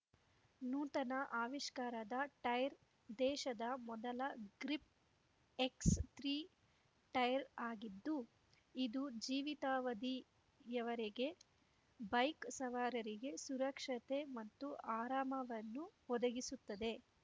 ನೂತನ ಅವಿಷ್ಕಾರದ ಟೈರ್ ದೇಶದ ಮೊದಲ ಗ್ರಿಪ್ ಎಕ್ಸ್ ಮೂರು ಟೈರ್ ಆಗಿದ್ದು ಇದು ಜೀವಿತಾವಧಿಯವರೆಗೆ ಬೈಕ್ ಸವಾರರಿಗೆ ಸುರಕ್ಷತೆ ಮತ್ತು ಆರಾಮವನ್ನು ಒದಗಿಸುತ್ತದೆ